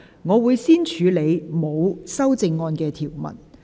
我會先處理沒有修正案的條文。